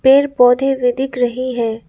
पेड़ पौधे भी दिख रही है।